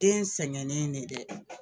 Den sɛgɛnnen ne dɛ